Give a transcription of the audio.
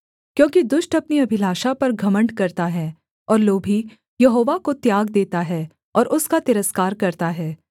क्योंकि दुष्ट अपनी अभिलाषा पर घमण्ड करता है और लोभी यहोवा को त्याग देता है और उसका तिरस्कार करता है